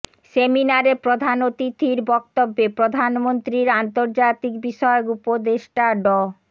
সেমিনারে প্রধান অতিথির বক্তব্যে প্রধানমন্ত্রীর আন্তর্জাতিক বিষয়ক উপদেষ্টা ড